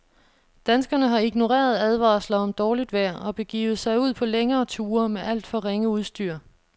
Danskerne har ignoreret advarsler om dårligt vejr og begivet sig ud på længere ture med alt for ringe udstyr.